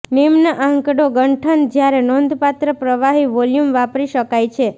નિમ્ન આંકડો ગંઠન જ્યારે નોંધપાત્ર પ્રવાહી વોલ્યુમ વાપરી શકાય છે